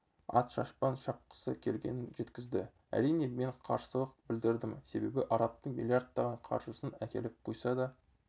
ат-шапан жапқысы келгенін жеткізді әрине мен қарсылық білдірдім себебі арабтың миллиардтаған қаржысын әкеліп құйса да